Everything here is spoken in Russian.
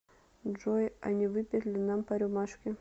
джой а не выпить ли нам по рюмашке